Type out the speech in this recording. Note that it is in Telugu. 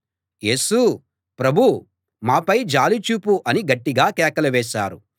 యేసూ ప్రభూ మాపై జాలి చూపు అని గట్టిగా కేకలు వేశారు